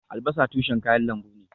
Albasa tushen kayan lambu ne